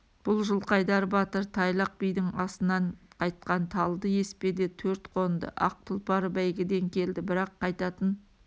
бұл жылқайдар батыр тайлақ бидің асынан қайтқан талды еспеде төрт қонды ақ тұлпары бәйгіден келді бірақ қайтатын